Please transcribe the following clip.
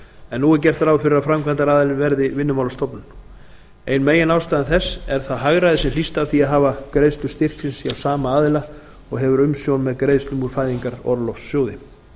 en nú er gert ráð fyrir að framkvæmdaraðili verði vinnumálastofnun ein meginástæða þess er það hagræði sem hlýst af því að hafa greiðslur styrksins hjá sama aðila og hefur umsjón með greiðslum úr fæðingarorlofssjóði